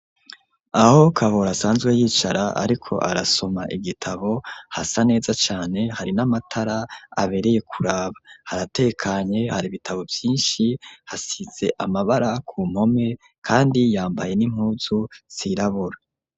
Aho Kabura asanzwe yicara ariko arasoma igitabo hasa neza cane hari n'amatara abereye kuraba haratekanye hari ibitabo vyishi hasize amabara ku mpome kandi yambaye n'impunzu zirabura.